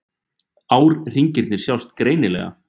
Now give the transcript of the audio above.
Árhringirnir sjást greinilega.